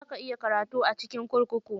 Za ka iya karatu a cikin kurkuku.